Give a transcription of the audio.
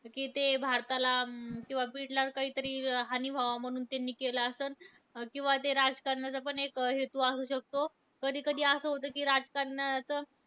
कि ते भारताला किंवा बीडला काहीतरी हानी व्हावं म्हणून त्यांनी केलं असलं. अं किंवा ते राजकारणाचा पण एक हेतू असू शकतो. कधी कधी असं होतं कि राजकारणात